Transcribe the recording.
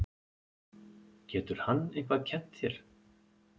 Getur hann eitthvað kennt þér?